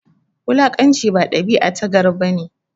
Wulakanci ba dabia ta gari bane